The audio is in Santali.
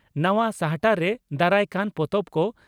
ᱱᱟᱣᱟ ᱥᱟᱦᱴᱟᱨᱮ ᱫᱟᱨᱟᱭᱠᱟᱱ ᱯᱚᱛᱚᱵ ᱠᱚ